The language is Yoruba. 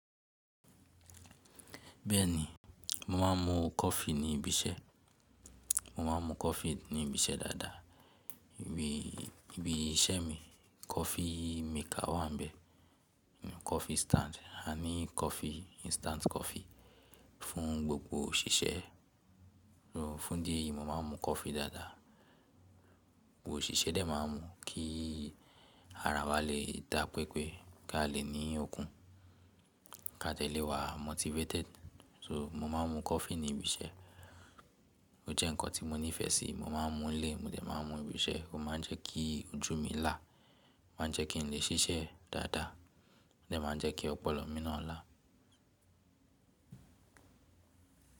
Bẹ́ẹ̀ni, mo máa ń mu coffee ní ibi iṣẹ́, mo máa ń mu coffee ní ibi iṣẹ́ dáadáa. Ibi iṣẹ́ mi coffee maker wà ń bẹ, coffee stand. A ní coffee instant coffee fún gbogbo òṣìṣẹ́. Fún Idi eyi, mo máa ń mu coffee dáadáa. Gbogbo òṣìṣẹ́ dẹ̀ máa ń mu kí ara wa lè dà pépé, kí a lè ní okun, kí a lè wá motivated. So, mo máa ń mu coffee ní ibi iṣẹ́. Ó jẹ́ nǹkan tí mo nífẹ̀ẹ́ sí, mo máa ń mu lé, mo dẹ̀ máa ń mu ibi iṣẹ́. Ó máa ń jẹ́ kí ojú mi là, máa ń jẹ́ kí n lè ṣiṣẹ́ dáadáa, ó dẹ̀ máa ń jẹ́ kí ọpọlọ mi náà là.